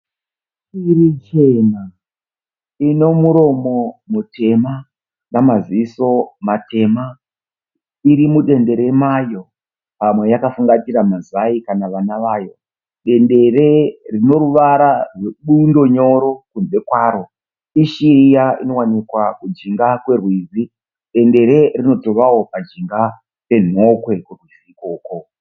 Shiri chena. Ine muromo mutema namaziso matema. Iri mudendere mayo. Pamwe yakafungatira mazai kana vana vayo. Dendere rine ruvara twebundo nyoro kunze kwaro. Ishiri iya inowanikwa kujinga kwerwizi. Dendere rinotovawo pajinga penhokwe.